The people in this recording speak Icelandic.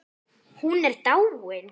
Hún er dáin.